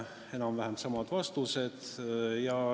Anti enam-vähem samad vastused.